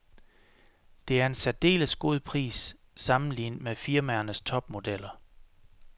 Det er en særdeles god pris, sammenlignet med firmaernes topmodeller.